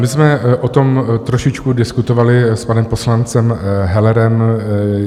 My jsme o tom trošičku diskutovali s panem poslancem Hellerem.